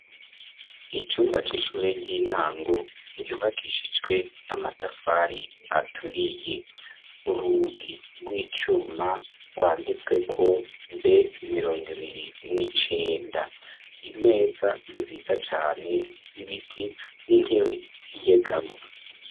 Icumba c'ishure ry'intango ryubakishijwe amatafari aturiye, urugi rw'icuma rwanditsweko B mirongo ibiri n'icenda, imeza nziza cane z'ibiti n'intebe zinyegamwo.